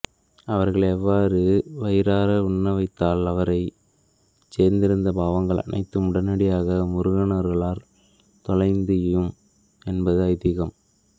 அவர்களை அவ்வாறு வயிறார உண்ணவைத்தால் அதுவரை சேர்ந்திருந்த பாவங்கள் அனைத்தும் உடனடியாக முருகனருளால் தொலையும் என்பது ஐதீகம்